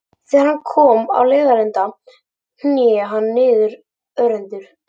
Þegar hann kom á leiðarenda hné hann niður örendur.